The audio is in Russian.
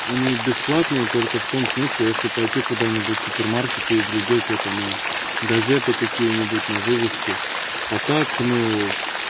они бесплатные только в том смысле если пойти куда-нибудь супермаркеты и глядеть это на газеты какие-нибудь на вывеске а так ну